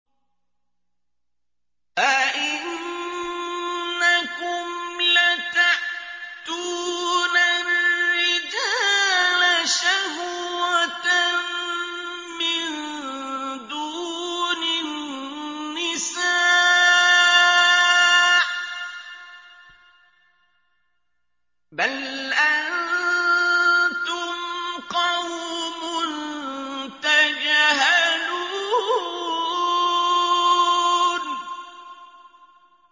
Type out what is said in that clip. أَئِنَّكُمْ لَتَأْتُونَ الرِّجَالَ شَهْوَةً مِّن دُونِ النِّسَاءِ ۚ بَلْ أَنتُمْ قَوْمٌ تَجْهَلُونَ